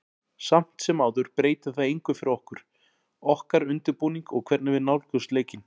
Samt sem áður breytir það engu fyrir okkur, okkar undirbúning og hvernig við nálgumst leikinn.